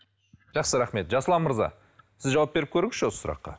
жақсы рахмет жасұлан мырза сіз жауап беріп көріңізші осы сұраққа